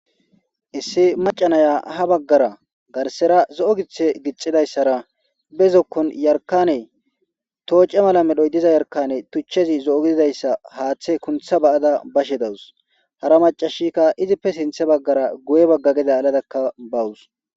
Issi maca naya ha bagara garisera zoo giththe giththadayisara be zokon yarikanne toche mala medhoyi diza yarikanne tuchez zo gididayisara haaththe kunththa Bada bashshe dawusi hara macashikka izippe sintha bagara guye gede aladakka bawusi